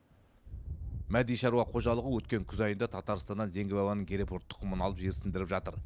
мәди шаруа қожалығы өткен күз айында татарстаннан зеңгі бабаның герефорд тұқымын алып жерсіндіріп жатыр